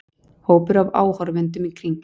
Hópur af áhorfendum í kring.